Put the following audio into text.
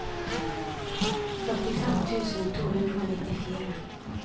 førtifem tusen to hundre og nittifire